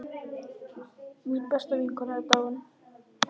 Mín besta vinkona er dáin.